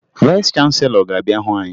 Vayịs chanselọ ga-abịa hụ anyị